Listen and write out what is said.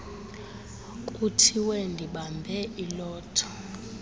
kuthiwe ndibambe ilotho